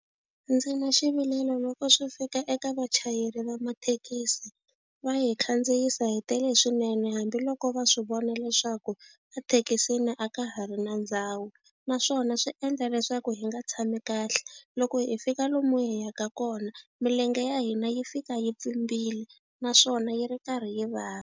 Ndzi na xivilelo loko swi fika eka vachayeri va mathekisi va hi khandziyisa hi tele swinene hambiloko va swi vona leswaku a thekisini a ka ha ri ri na ndhawu naswona swi endla leswaku hi nga tshami kahle loko hi fika lomu hi yaka kona milenge ya hina yi fika yi pfimbile naswona yi ri karhi yi vava.